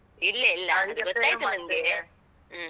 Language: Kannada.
ಇಲ್ಲ ಇಲ್ಲ ಗೊತ್ತಾಯ್ತು ನಂಗೆ. ಹ್ಮ.